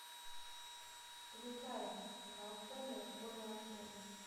включай волшебный школьный автобус